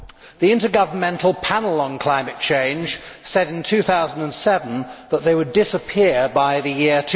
The Intergovernmental Panel on Climate Change said in 2007 that they would disappear by the year